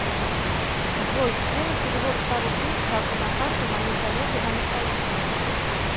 джой сделай перевод ста рублей с карты на карту моей коллеге анастасии